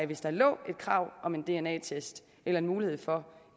hvis der lå et krav om en dna test eller en mulighed for